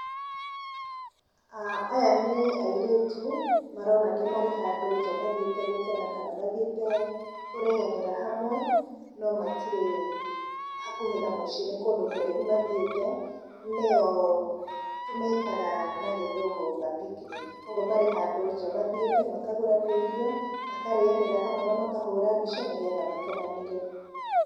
Aya nĩ airĩtu , maronania marĩ handũ nja mathiĩte gũkena kana mathiĩte kũrĩanĩra hamwe, no matirĩ hakuhĩ na mũciĩ nĩ kũndũ kũraihu mathiĩte, nĩyo twĩtaga na gĩthũngũ ga picknick, kũgwo marĩ handũ nja makagũra tũirio, makarĩanĩra hamwe na makahũra mbica nĩgetha makenanĩre.